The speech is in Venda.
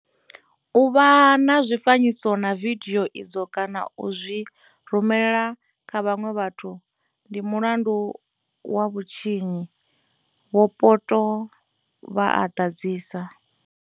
U vha na zwifanyiso na vidio idzo kana u zwi rumela kha vhaṅwe vhathu, ndi mulandu wa vhutshinyi, Vho Poto vha a ḓadzisa.